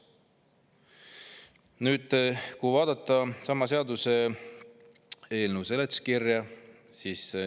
Nüüd vaatame sama seaduseelnõu seletuskirja.